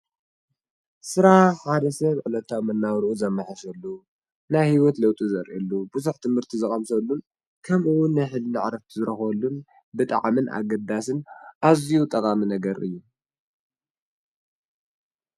ስራሕ ሓደ ሰብ ዕለታዊ መነባብርኡ ዘመሓይሸሉ፣ ናይ ሂወት ለውጢ ዘርእየሉ፣ ብዙሕ ትምህርቲ ዝቀምሰሉ ከምኡ ውን ናይ ህልና ዕረፍቲ ዝረኽበሉን ብጣዕሚን ኣገዳስን ኣዝዩ ጠቃሚ ነገር እዩ።